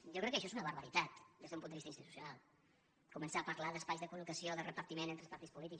jo crec que això és una barbaritat des d’un punt de vista institucional començar a parlar d’espais de col·locació de repartiment entre els partits polítics